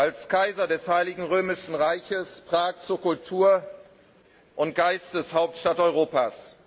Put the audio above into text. als Kaiser des Heiligen Römischen Reichs Prag zur Kultur und Geisteshauptstadt Europas.